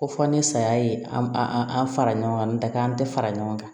Ko fɔ ni saya ye an fara ɲɔgɔn kan n ta kɛ an tɛ fara ɲɔgɔn kan